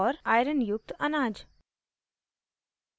iron युक्त अनाज